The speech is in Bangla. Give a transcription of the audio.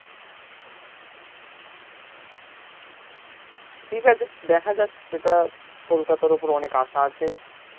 ঠিকই আচে দেখা যাক সেটা কলকতার উপর অনেক আশা আছে